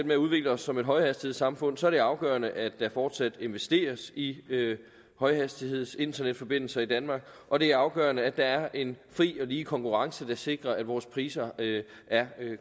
med at udvikle os som et højhastighedssamfund er det afgørende at der fortsat investeres i højhastighedsinternetforbindelser i danmark og det er afgørende at der er en fri og lige konkurrence der sikrer at vores priser er